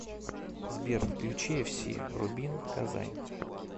сбер включи эф си рубин казань